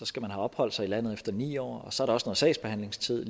skal have opholdt sig i landet i ni år og så er der også en sagsbehandlingstid